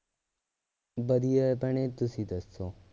ਵਧੀਆ ਹੈ ਭੈਣੇ ਤੁਸੀਂ ਦੱਸੋ